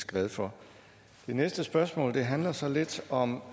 glad for det næste spørgsmål handler så lidt om